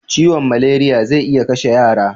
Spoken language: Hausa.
Ciwon malariya zai iya kashe yara